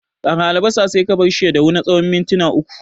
Ƙara albasa sai ka barshi ya dahu na tsawon minti uku.